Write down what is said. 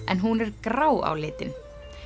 en hún er grá á litinn